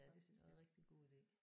Ja det synes jeg er rigtig god ide